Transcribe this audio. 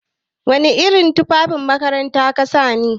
Wana irin tufan makaranta kasani?